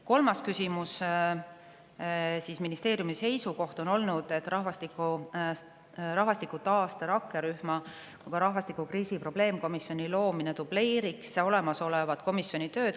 Kolmas küsimus: "Teie ministeeriumi seisukoht on olnud, et nii rahvastikutaaste rakkerühma kui ka rahvastikukriisi probleemkomisjoni loomine dubleeriks olemasolevat komisjoni tööd.